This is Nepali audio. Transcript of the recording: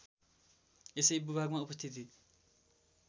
यसै भूभागमा उपस्थिति